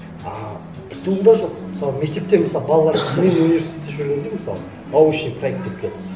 ааа пту да жоқ мысалы мектепте мысалы балаларды мен университетте жүргенде мысалы научный проект деп келді